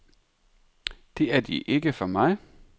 Det er de ikke for mig.